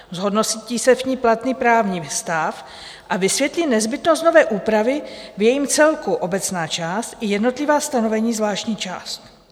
"Zhodnotí se v ní platný právní stav a vysvětlí nezbytnost nové úpravy v jejím celku, obecná část i jednotlivá ustanovení, zvláštní část."